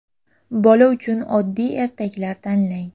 Bola uchun oddiy ertaklar tanlang.